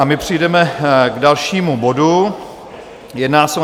A my přejdeme k dalšímu bodu, jedná se o